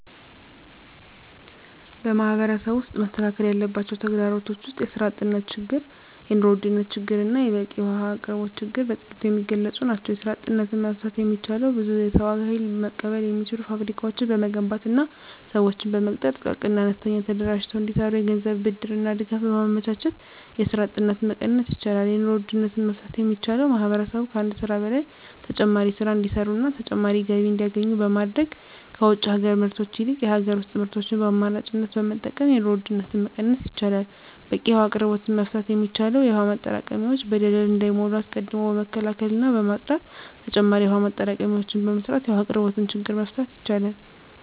በማህበረሰቡ ውስጥ መስተካከል ያለባቸው ተግዳሮቶች ውስጥ የስራ አጥነት ችግር የኑሮ ውድነት ችግርና በቂ የውሀ አቅርቦት ችግር በጥቂቱ የሚገለፁ ናቸው። የስራ አጥነትን መፍታት የሚቻለው ብዙ የሰው ሀይል መቀበል የሚችሉ ፋብሪካዎችን በመገንባትና ስዎችን በመቅጠር ጥቃቅንና አነስተኛ ተደራጅተው እንዲሰሩ የገንዘብ ብድርና ድጋፍ በማመቻቸት የስራ አጥነትን መቀነስ ይቻላል። የኑሮ ውድነትን መፍታት የሚቻለው ማህበረሰቡ ከአንድ ስራ በላይ ተጨማሪ ስራ እንዲሰሩና ተጨማሪ ገቢ እንዲያገኙ በማድረግ ከውጭ ሀገር ምርቶች ይልቅ የሀገር ውስጥ ምርቶችን በአማራጭነት በመጠቀም የኑሮ ውድነትን መቀነስ ይቻላል። በቂ የውሀ አቅርቦትን መፍታት የሚቻለው የውሀ ማጠራቀሚያዎች በደለል እንዳይሞሉ አስቀድሞ በመከላከልና በማፅዳት ተጨማሪ የውሀ ማጠራቀሚያዎችን በመስራት የውሀ አቅርቦትን ችግር መፍታት ይቻላል።